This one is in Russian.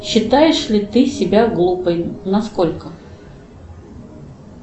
считаешь ли ты себя глупой насколько